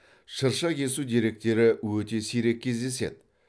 шырша кесу деректері өте сирек кездеседі